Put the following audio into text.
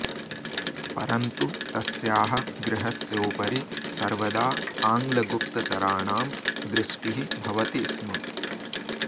परन्तु तस्याः गृहस्योपरि सर्वदा आङ्ग्लगुप्तचराणां दृष्टिः भवति स्म